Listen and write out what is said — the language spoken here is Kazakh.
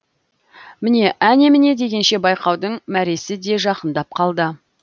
міне әне міне дегенше байқаудың мәресі де жақындап қалды